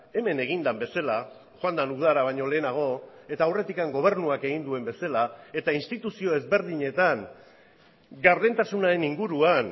hemen egin den bezala joan den udara baino lehenago eta aurretik gobernuak egin duen bezala eta instituzio ezberdinetan gardentasunaren inguruan